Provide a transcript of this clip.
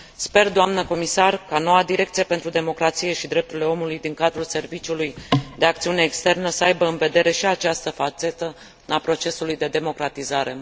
Sper, Doamnă Comisar, ca noua Direcție pentru Democrație și Drepturile Omului din cadrul Serviciului de Acțiune Externă să aibă în vedere și această fațetă a procesului de democratizare.